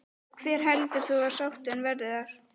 Hver heldur þú að sáttin verði þar?